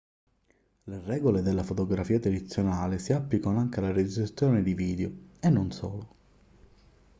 le regole della fotografia tradizionale si applicano anche alla registrazione video e non solo